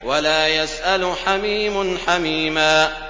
وَلَا يَسْأَلُ حَمِيمٌ حَمِيمًا